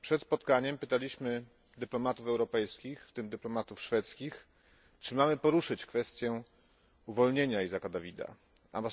Przed spotkaniem pytaliśmy dyplomatów europejskich, w tym dyplomatów szwedzkich, czy mamy poruszyć kwestię uwolnienia Dawita Isaaka.